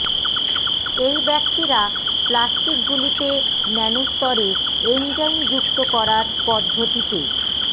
এই ব্যক্তিরা প্লাস্টিকগুলিতে ন্যানো স্তরে এনজাইম যুক্ত করার পদ্ধতিতে